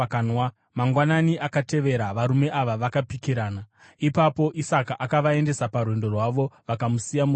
Mangwanani akatevera varume ava vakapikirana. Ipapo Isaka akavaendesa parwendo rwavo, vakamusiya murugare.